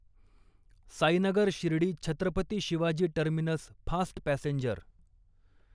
Sainagar Shirdi Chhatrapati Shivaji terminus fast passenger